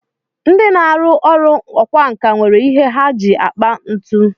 Ndị na-arụ ọrụ ọkwánka nwere ihe ha ji akpa ntu